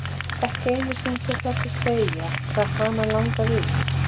Ekki einu sinni til þess að segja hvað hana langaði í.